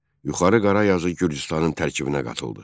Yuxarı Qarazyazı Gürcüstanın tərkibinə qatıldı.